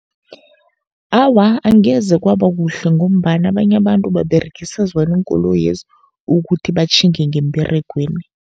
Awa, angeze kwaba kuhle ngombana abanye abantu baberegisa zona iinkoloyezi, ukuthi batjhinge ngemberegweni.